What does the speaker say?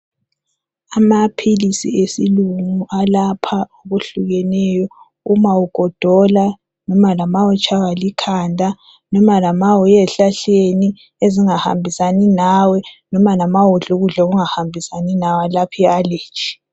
Amaphilisi esilungu alapha okuhlukeneyo uma ugodola loba nxa utshaywa likhanda loba nxa uye ezihlahleni ezingahambisani lawe noma lanxa idle ukudla okungahambisani lawe alapha I allergy.